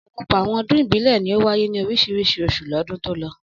Ọ̀pọ̀lọpọ̀ àwọn ọdún ìbílẹ̀ ni ó wáyé ní oríṣiríṣi oṣù lọ́dún tó lọ.